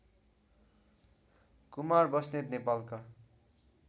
कुमार बस्नेत नेपालका